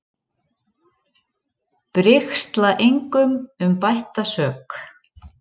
Brigsla engum um bætta sök.